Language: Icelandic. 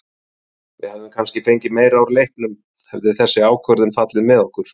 Við hefðum kannski fengið meira úr leiknum hefði þessi ákvörðun fallið með okkur.